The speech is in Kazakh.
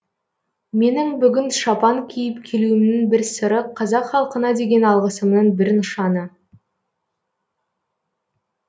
менің бүгін шапан киіп келуімнің бір сыры қазақ халқына деген алғысымның бір нышаны